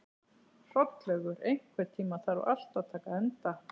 Hrollaugur, einhvern tímann þarf allt að taka enda.